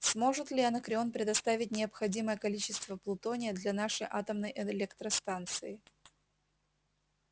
сможет ли анакреон предоставить необходимое количество плутония для нашей атомной электростанции